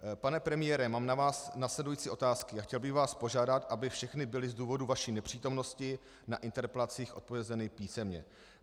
Pane premiére, mám na vás následující otázky a chtěl bych vás požádat, aby všechny byly z důvodu vaší nepřítomnosti na interpelacích odpovězeny písemně.